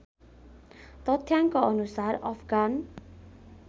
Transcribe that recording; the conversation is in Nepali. तथ्याङ्कअनुसार अफगान